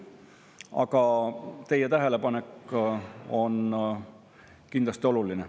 Aga teie tähelepanek on kindlasti oluline.